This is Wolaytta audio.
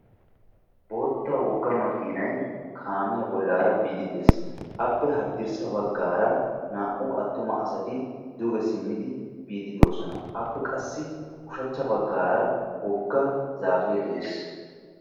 Bootta wogga makiinay kaamiyaa bollaara biidi de'ees. appe haddirssa baggaara naa"u attuma asati duge simmidi biidi de'oosona. appe qassi ushshachcha baggaara wogga zaapee de'ees.